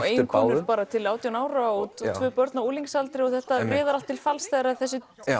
eiginkonu til átján ára og tvö börn á unglingsaldri og þetta riðar allt til falls þegar þessi